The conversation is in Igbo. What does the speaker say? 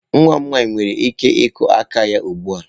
Nwa m nwanyị nwere ike ịkụ aka ya ugbu a.